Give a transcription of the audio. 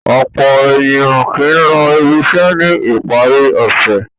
Ọ̀pọ̀ ènìyàn kì í lọ ibiṣẹ́ ní ìparí ọ̀sẹ̀.